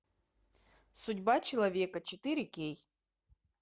судьба человека четыре кей